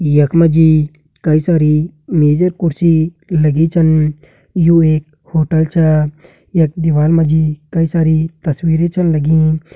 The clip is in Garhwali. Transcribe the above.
यक मजी कई सारी मेज अर कुर्सी लगी छन। यू एक होटल छ। यक दीवाल मजी कई सारी तस्वीरे छन लगीं।